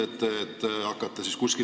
Aitäh, hea istungi juhataja!